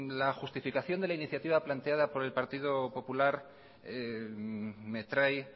la justificación de la iniciativa planteada por el partido popular me trae